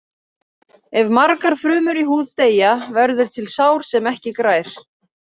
Ef margar frumur í húð deyja verður til sár sem ekki grær.